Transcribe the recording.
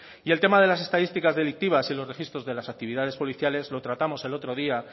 y el tema de las estadísticas delictivas y los registros de las actividades policiales lo tratamos el otro día